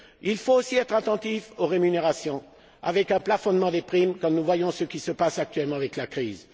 Il faut aussi être attentif aux rémunérations, prévoir un plafonnement des primes, quand nous voyons ce qui se passe actuellement avec la crise.